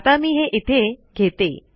आता मी हे इथे घेते